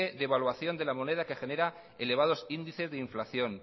devaluación de la moneda que genera elevados índices de inflación